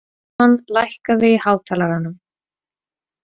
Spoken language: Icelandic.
Eron, lækkaðu í hátalaranum.